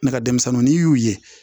Ne ka denmisɛnninw n'i y'u ye